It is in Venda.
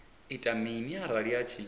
ita mini arali a tshi